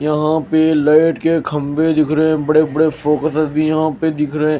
यहाँ पे लाइट के खंबे दिख रहे हैं बड़े-बड़े फोकसेस भी यहाँ पे दिख रहे हैं।